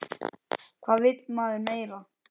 Hvað vill maður meira?